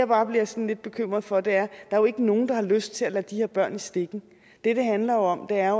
bare bliver sådan lidt bekymret for der er jo ikke nogen der har lyst til at lade de her børn i stikken det det handler om er